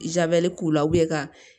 Jabɛti k'u la ka